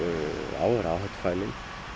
áhættufælinn